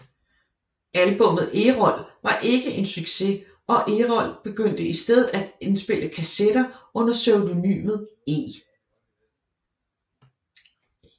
Albummet Errol var ikke en succes og Errol begyndte i stedet at indspille kassetter under pseudonymet E